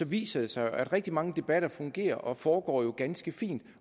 viser det sig at rigtig mange debatter fungerer og foregår ganske fint